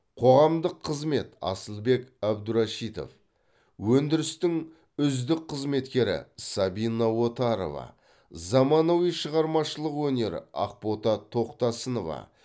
қоғамдық қызмет асылбек әбдурашитов өндірістің үздік қызметкері сабина отарова заманауи шығармашылық өнер ақбота тоқтасынова